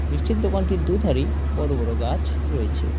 মিষ্টির দোকানটির দু'ধারেই বড়-বড় গাছ রয়েছে।